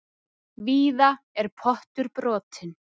Víða er pottur brotinn.